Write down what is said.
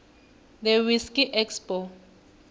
the whiskey expo